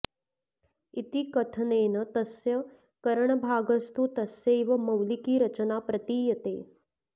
इति कथनेन तस्य करणभागस्तु तस्यैव मौलिकी रचना प्रतीयते